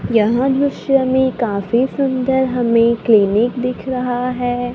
यहां दृश्य में काफी सुंदर हमें क्लिनिक दिख रहा है।